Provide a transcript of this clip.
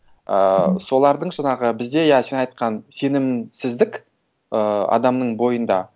ыыы мхм солардың жаңағы бізде иә сен айтқан сенімсіздік ыыы адамның бойында